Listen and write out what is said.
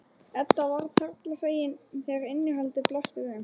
Edda varð harla fegin þegar innihaldið blasti við þeim.